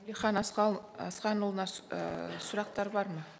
әлихан асханұлына ііі сұрақтар бар ма